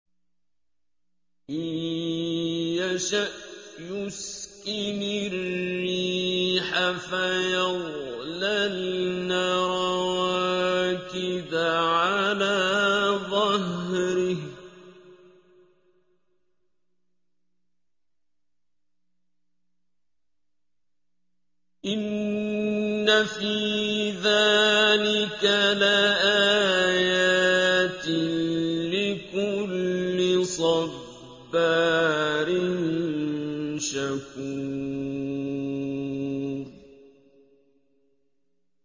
إِن يَشَأْ يُسْكِنِ الرِّيحَ فَيَظْلَلْنَ رَوَاكِدَ عَلَىٰ ظَهْرِهِ ۚ إِنَّ فِي ذَٰلِكَ لَآيَاتٍ لِّكُلِّ صَبَّارٍ شَكُورٍ